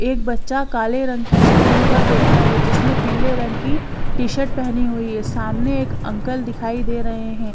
एक बच्चा काले रंग के स्टूल पर बैठा है जिसने पीले रंग की टी शर्ट पेहनी हुई है सामने एक अंकल दिखाई दे रहे है।